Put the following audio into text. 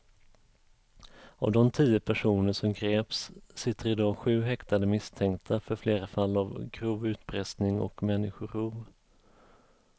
Av de tio personer som greps sitter i dag sju häktade misstänkta för flera fall av grov utpressning och människorov.